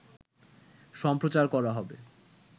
সম্প্রচার করা হবে